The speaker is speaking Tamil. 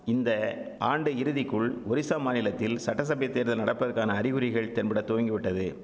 இந்த ஆண்டு இறுதிக்குள் ஒரிசா மாநிலத்தில் சட்டசபை தேர்தல் நடப்பதக்கான அறிகுறிகள் தென்பட துவங்கிவிட்டது